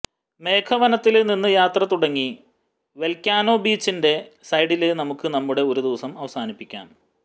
മേഘ വനത്തില് നിന്ന് യാത്ര തുടങ്ങി വോല്ക്കനോ ബീച്ചിന്റെ സൈഡില് നമുക്ക് നമ്മുടെ ഒരു ദിവസം അവസാനിപ്പിക്കാം